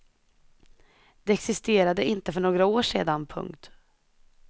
De existerade inte för några år sedan. punkt